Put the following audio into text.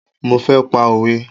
Mo fẹ́ pa òwe